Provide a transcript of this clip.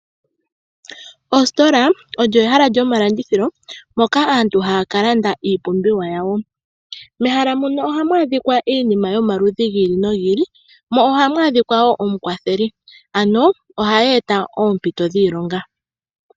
Ositola olyo ehala lyomalandithilo moka aantu haya ka landa iipumbiwa yawo. Mehala muno ohamu adhikwa iinima yomaludhi gi ili nogi ili, mo ohamu adhikwa wo omukwatheli. Ano ohadhi eta oompito dhiilonga.